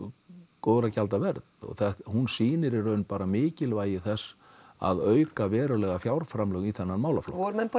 góðra gjalda verð og hún sýnir í raun mikilvægi þess að auka verulega fjárframlög í þennan málaflokk voru menn bara í